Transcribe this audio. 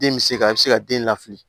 Den bɛ se ka se ka den lafili